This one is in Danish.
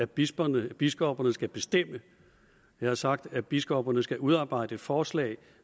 biskopperne biskopperne skal bestemme jeg har sagt at biskopperne skal udarbejde et forslag